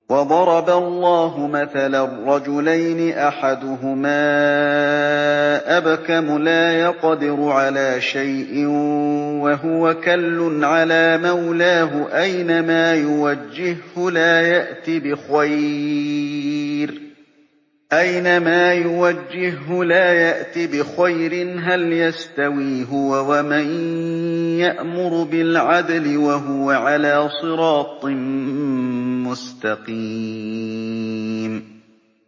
وَضَرَبَ اللَّهُ مَثَلًا رَّجُلَيْنِ أَحَدُهُمَا أَبْكَمُ لَا يَقْدِرُ عَلَىٰ شَيْءٍ وَهُوَ كَلٌّ عَلَىٰ مَوْلَاهُ أَيْنَمَا يُوَجِّههُّ لَا يَأْتِ بِخَيْرٍ ۖ هَلْ يَسْتَوِي هُوَ وَمَن يَأْمُرُ بِالْعَدْلِ ۙ وَهُوَ عَلَىٰ صِرَاطٍ مُّسْتَقِيمٍ